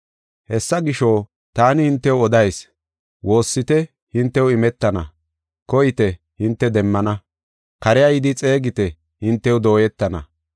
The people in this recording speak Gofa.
“Hessa gisho, taani hintew odayis; woossite hintew imetana; koyite hinte demmana; kare yidi xeegite hintew dooyetana.